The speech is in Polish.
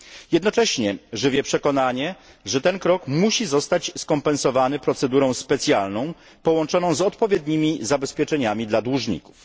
Jednocześnie żywię przekonanie, że ten krok musi zostać skompensowany procedurą specjalną, połączoną z odpowiednimi zabezpieczeniami dla dłużników.